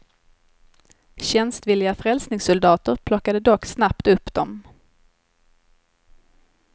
Tjänstvilliga frälsningssoldater plockade dock snabbt upp dem.